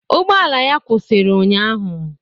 Ụgbọala ya kwụsịrị ụnyaahụ.